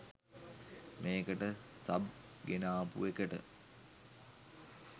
මේකට සබ් ගෙනාපු එකට